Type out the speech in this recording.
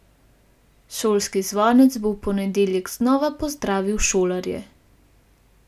Šolski zvonec bo v ponedeljek znova pozdravil šolarje.